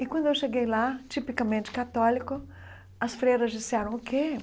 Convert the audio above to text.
E quando eu cheguei lá, tipicamente católico, as freiras disseram o quê?